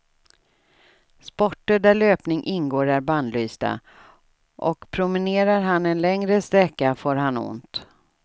Sporter där löpning ingår är bannlysta och promenerar han en längre sträcka får han ont.